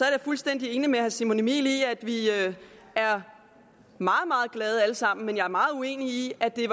jeg fuldstændig enig med herre simon emil ammitzbøll i at vi er meget meget glade alle sammen men jeg er meget uenig i at det